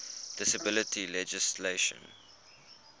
disability legislation